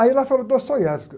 Ainda fala de Dostoiévski.